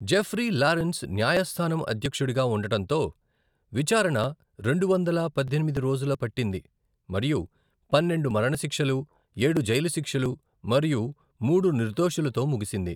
Jeffrey Lawrence న్యాయస్థానం అధ్యక్షుడిగా ఉండటంతో, విచారణ రెండు వందల పద్దెనిమిది రోజులు పట్టింది మరియు పన్నెండు మరణశిక్షలు, ఏడు జైలు శిక్షలు మరియు మూడు నిర్దోషులతో ముగిసింది.